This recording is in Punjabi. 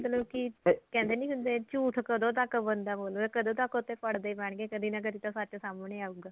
ਕਿ ਕਹਿੰਦੇ ਨੀ ਹੁੰਦੇ ਝੂਠ ਕਦੋਂ ਤੱਕ ਬੰਦਾ ਬੋਲੇ ਕਦੋਂ ਤੱਕ ਉੱਤੇ ਪੜਦੇ ਪੈਣ ਗੇ ਕਦੀ ਨਾ ਕਦੀ ਤਾਂ ਸੱਚ ਸਾਹਮਣੇ ਆਉਗਾ